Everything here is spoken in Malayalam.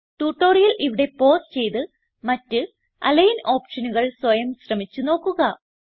ട്യൂട്ടോറിയൽ ഇവിടെ പൌസ് ചെയ്ത് മറ്റ് അലിഗ്ൻ ഓപ്ഷനുകൾ സ്വയം ശ്രമിച്ച് നോക്കുക